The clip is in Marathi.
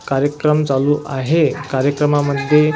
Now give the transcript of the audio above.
कार्यक्रम चालू आहे कार्यक्रमामध्ये --